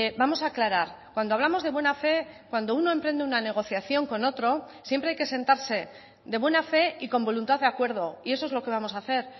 vamos a aclarar cuando hablamos de buena fe cuando uno emprende una negociación con otro siempre hay que sentarse de buena fe y con voluntad de acuerdo y eso es lo que vamos a hacer